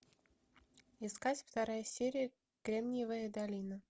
искать вторая серия кремниевая долина